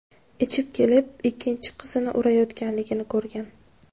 ichib kelib ikkinchi qizini urayotganligini ko‘rgan.